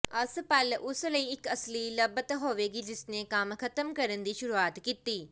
ਅੱਸਪਲ ਉਸ ਲਈ ਇੱਕ ਅਸਲੀ ਲੱਭਤ ਹੋਵੇਗੀ ਜਿਸ ਨੇ ਕੰਮ ਖ਼ਤਮ ਕਰਨ ਦੀ ਸ਼ੁਰੂਆਤ ਕੀਤੀ